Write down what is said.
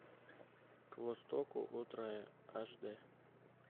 к востоку от рая аш д